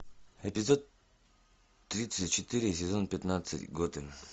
эпизод тридцать четыре сезон пятнадцать готэм